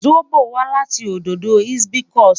Zobo wa lati ododo hibiscus